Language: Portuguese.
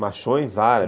Machões árabes.